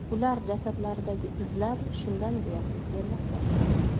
Ular jasadlaridagi izlar shundan guvohlik bermoqda.